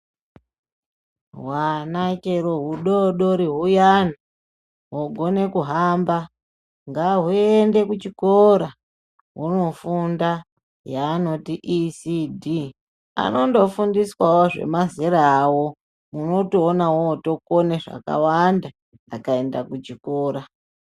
Hwana chero hudoodori huyani hwogone kuhamba ngahuyende kuchikora hwoofunda yaanoti ECD anondofundiswawo zvemazera awo otoone munootokone zvakawanda akaenda kuchikora.